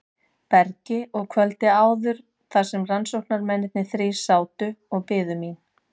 bergi og kvöldið áður þar sem rannsóknarmennirnir þrír sátu og biðu mín.